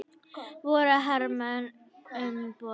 Voru hermenn um borð?